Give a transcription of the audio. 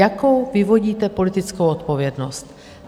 Jakou vyvodíte politickou odpovědnost?